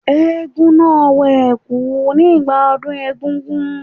Eégún náà wọ ẹ̀kú nígbà ọdún egúngún.